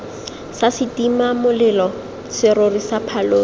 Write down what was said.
sa setimamolelo serori sa phaloso